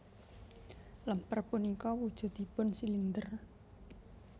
Lemper punika wujudipun silinder